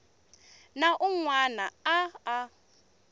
na un wana a a